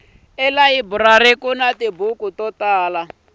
elayiburari kuni tibuku to tala